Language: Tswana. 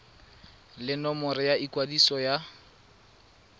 le nomoro ya ikwadiso ya